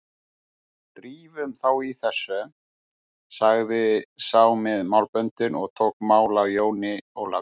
Drífum þá í þessu, sagði sá með málböndin og tók mál af Jóni Ólafi.